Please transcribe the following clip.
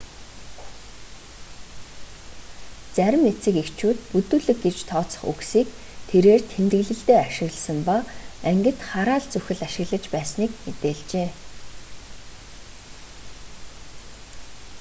зарим эцэг эхчүүд бүдүүлэг гэж тооцох үгсийг тэрээр тэмдэглэлдээ ашигласан ба ангид хараал зүхэл ашиглаж байсныг мэдээлжээ